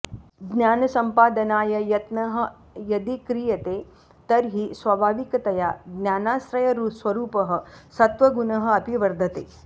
ज्ञानसम्पादनाय यत्नः यदि क्रियते तर्हि स्वाभाविकतया ज्ञानाश्रयस्वरूपः सत्वगुणः अपि वर्धते